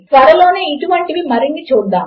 త్వరలోనే ఇటువంటివి మరిన్ని చూద్దాము